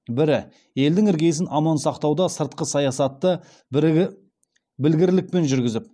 бірі елдің іргесін аман сақтауда сыртқы саясатты білгірлікпен жүргізіп